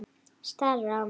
Starir á mig.